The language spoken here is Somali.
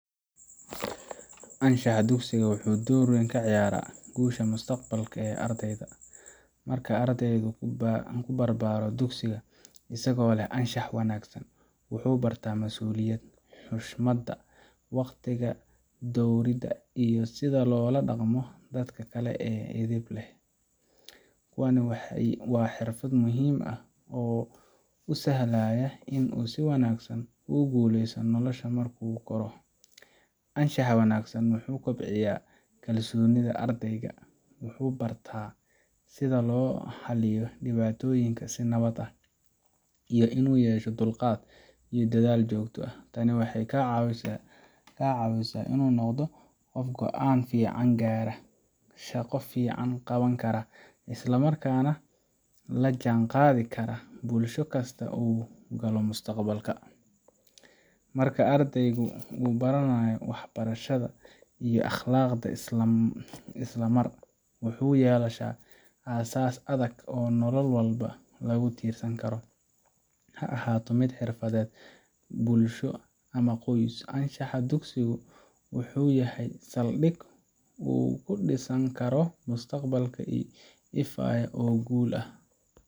Anshaxa dugsiga wuxuu door weyn ka ciyaaraa guusha mustaqbalka ee ardayda. Marka ardaygu ku barbaaro dugsiga isagoo leh anshax wanaagsan, wuxuu bartaa masuuliyadda, xushmadda, waqtiga dhowridda iyo sida loola dhaqmo dadka kale si edeb leh. Kuwani waa xirfado muhiim ah oo u sahlaya in uu si wanaagsan ugu guuleysto nolosha marka uu koro. Anshaxa wanaagsan wuxuu kaloo kobciyaa kalsoonida ardayga, wuxuu bartaa sida loo xaliyo dhibaatooyinka si nabad ah, iyo inuu yeesho dulqaad iyo dadaal joogto ah. Tani waxay ka caawisaa inuu noqdo qof go’aan fiican gaari kara, shaqo fiican qaban kara, isla markaana la jaan qaadi kara bulsho kasta oo uu galo mustaqbalka. Marka ardayga uu baranayo waxbarashada iyo akhlaaqda isla mar, wuxuu yeelanayaa aasaas adag oo nolol walba lagu tiirsan karo ha ahaato mid xirfadeed, bulsho, ama qoys. Anshaxa dugsigu wuxuu u yahay saldhig uu ku dhisan karo mustaqbal ifaya oo guul ah.